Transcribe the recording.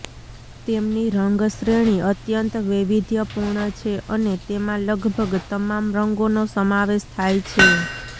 તેમની રંગ શ્રેણી અત્યંત વૈવિધ્યપુર્ણ છે અને તેમાં લગભગ તમામ રંગોનો સમાવેશ થાય છે